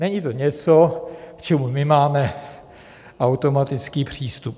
Není to něco, k čemu my máme automatický přístup.